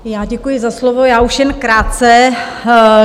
Já děkuji za slovo, já už jen krátce.